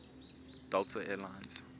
delta air lines